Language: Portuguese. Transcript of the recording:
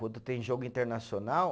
Quando tem jogo internacional,